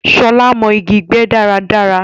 Shọla mọ̀ igi gbé dáradára